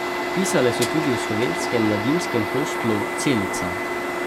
Pisale so tudi o slovenskem mladinskem hostlu Celica.